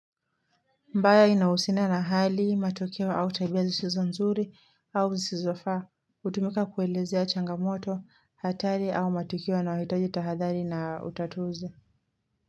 Mbaya inawusina na hali, matokeo au tabia sizizo nzuri au sizizofa, hutumika kuelezea changamoto, hatari au matokeo yanayohitaji tahadhari na utatuzi.